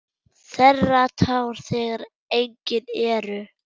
Þerrar tár þegar engin eru.